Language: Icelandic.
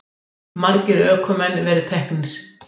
Margir ökumenn verið teknir